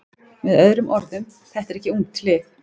Með öðrum orðum: Þetta er ekki ungt lið.